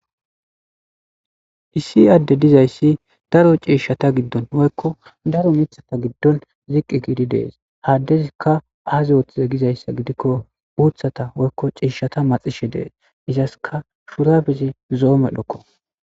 Issi adde dizayssi daro ciishshata giddon woykko daro mithata giddon ziqqi giidi dees haaddezikka aazi oothize gizayssa gidikko uuthata woykko ciishshata maxishe dees izaska shurabezi zo7o medhokko.